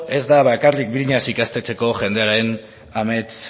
ez da bakarrik briñas ikastetxeko jendearen